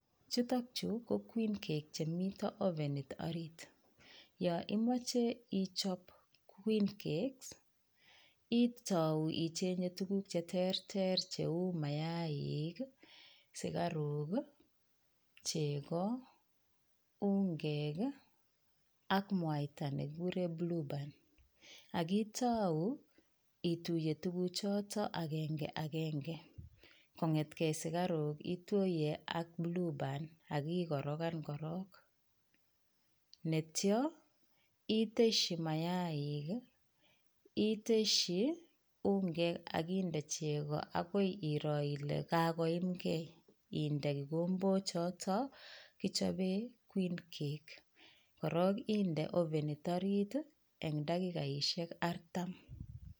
Chuto chu ko queen cakes chemiten ovenit orit yon imoche ichob queen cakes itou icheng'e tuguk chterter cheu: mayaaik, sugaruk, chego, ungek ak mwaita ne kigure blueband ak itou ituiye tuguchoto agenge en agenge. Kotengei sugaruk ituye ak blueband ak ikorokan korong, yeityo itesyi mayaaik, itesyi ungek ak indo chego agoi iroo ile kagoyumge inde kigombok choto kichoben queen cakes koroo inde ovenit orit en dakikaishek artam.